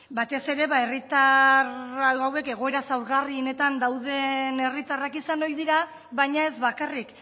batez ere herritar hauek egoera zaurgarri honetan dauden herritarrak izan ohi dira aina ez bakarrik